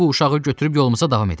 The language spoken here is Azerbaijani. Bu uşağı götürüb yolumuza davam edək.